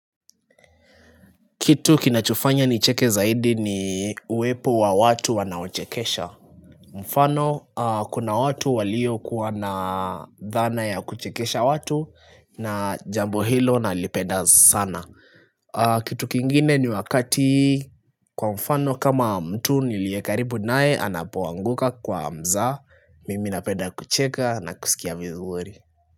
Kitu kinachofanya nicheke zaidi ni uwepo wa watu wanaochekesha. Mfano, kuna watu waliokuwa na dhana ya kuchekesha watu na jambo hilo nalipenda sana. Kitu kingine ni wakati kwa mfano kama mtu niliye karibu naye anapoanguka kwa mzaha. Mimi napenda kucheka na kusikia vizuri.